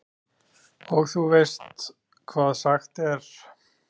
Og þú veist hvað sagt er?